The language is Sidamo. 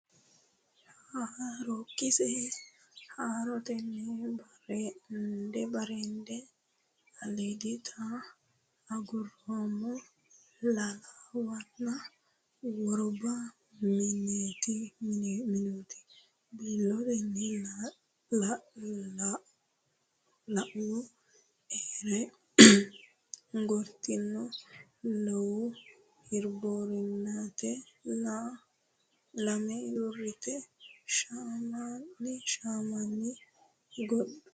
Haarookkise haarotena Bareende aliiditena Aguroomma lallawana Worba meentu biilootina Lallawu aree gortinona Luwa hirboorunnitena La ma dureette shamana Gaadunniwa gortinotina Handu odolchu amana.